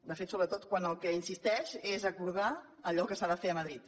de fet sobretot quan en el que insisteix és a acordar allò que s’ha de fer a madrid